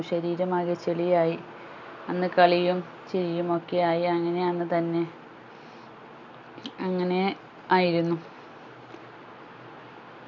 ശരീരം ആകെ ചെളിയായി അന്ന് കളിയും ചിരിയും ഒക്കെ ആയി അങ്ങനെ അന്ന് തന്നെ അങ്ങനെ ആയിരുന്നു